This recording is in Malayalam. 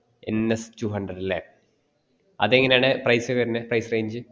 n s two hundred അല്ലെ അത് എങ്ങനയാണ് price വരുന്നേ price range